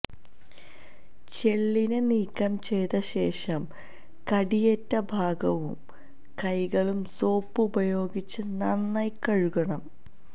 ചെള്ളിനെ നീക്കംചെയ്ത ശേഷം കടിയേറ്റ ഭാഗവും കൈകളും സോപ്പ് ഉപയോഗിച്ച് നന്നായി കഴുകണം